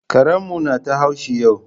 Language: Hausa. Karen mu na ta haushi yau